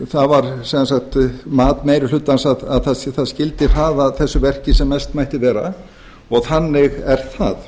það var sem sagt mat meiri hlutans að það skyldi hraða þessu verki sem mest mætti vera og þannig er það